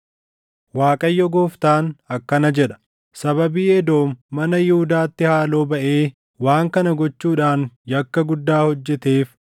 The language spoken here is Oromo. “ Waaqayyo Gooftaan akkana jedha: ‘Sababii Edoom mana Yihuudaatti haaloo baʼee waan kana gochuudhaan yakka guddaa hojjeteef,